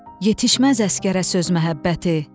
Yetişməz əsgərə söz məhəbbəti.